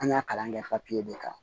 An y'a kalan kɛ papiye de kan